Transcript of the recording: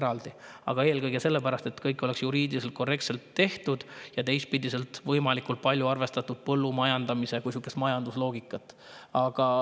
Eelkõige seda selle pärast, et kõik oleks juriidiliselt korrektselt tehtud ja teistpidi oleks võimalikult palju arvestatud põllumajandamise kui sihukese majandusloogikat.